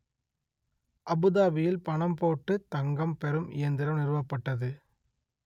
அபுதாபியில் பணம் போட்டுத் தங்கம் பெறும் இயந்திரம் நிறுவப்பட்டது